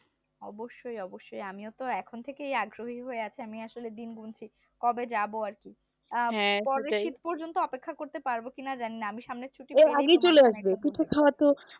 অবশ্যই অবশ্যই আমিও তো এখন থেকেই আগ্রহী হয়ে আছি আমি আসলে দিন গুনছি কবে যাব আর কি পরের শীত পর্যন্ত অপেক্ষা করতে পারব কি না জানি না আমি সামনে ছুটি পেলেই